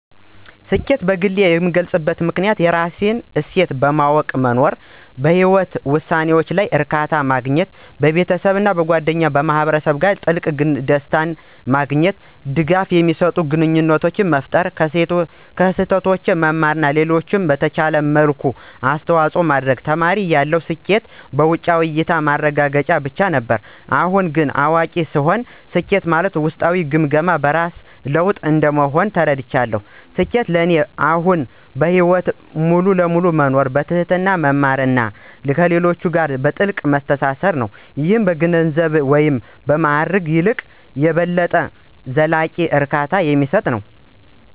ስኬትን በግሌ የምገልፅበት መንገድ የራስህን እሴቶች በማወቅ መኖር፣ እና በህይወትህ ውሳኔዎች ላይ እርካታ ማግኘት። ቤተሰብ፣ ጓደኞች እና ማህበረሰብ ጋር ጥልቅ፣ ደስታ እና ድጋፍ የሚሰጥ ግንኙነት መፍጠር፣ ከስህተቶቼ መማር እና ለሌሎች በምትችልበት መልኩ አስተዋጽኦ ማድረግ። ተማሪ እያለሁ ስኬት በውጫዊ (በእያታ) ማረጋገጫዎች ብቻ ነበር። አሁን እንደ አዋቂ ሳየው ግን ስኬት በውስጣዊ ግምገማዎች (በስራ ለውጥ) እንደሆነ ተረድቻለሁ። ስኬት ለእኔ አሁን በህይወት ሙሉ በሙሉ መኖር፣ በትህትና መማር እና ከሌሎች ጋር በጥልቀት መተሳሰር ነው - ይህም ከገንዘብ ወይም ማዕረግ ይልቅ የበለጠ ዘላቂ እርካታ የሚሰጥ ነው።